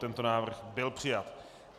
Tento návrh byl přijat.